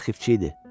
Arxivçi idi.